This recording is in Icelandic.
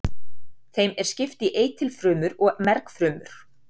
Þeim er skipt í eitilfrumur og mergfrumur.